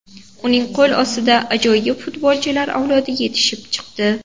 Uning qo‘l ostida ajoyib futbolchilar avlodi yetishib chiqdi.